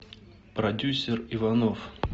продюсер иванов